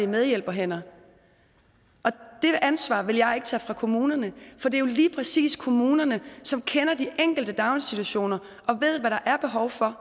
medhjælperhænder det ansvar vil jeg ikke tage fra kommunerne for det er jo lige præcis kommunerne som kender de enkelte daginstitutioner og ved hvad der er behov for